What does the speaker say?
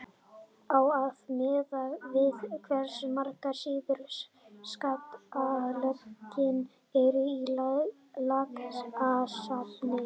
á að miða við hversu margar síður skattalögin eru í lagasafninu